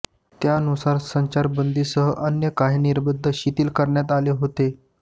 त्यानुसार संचारबंदीसह अन्य काही निर्बंध शिथिल करण्यात आले होते